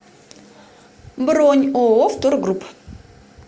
бронь ооо втор групп